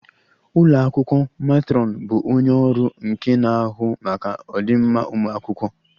Ụlọ akwụkwọ matron bụ onye ọrụ nke na-ahụ maka ọdịmma ụmụ akwụkwọ